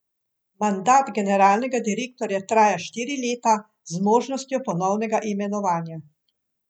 Mandat generalnega direktorja traja štiri leta z možnostjo ponovnega imenovanja.